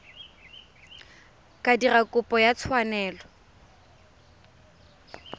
ka dira kopo ya tshwanelo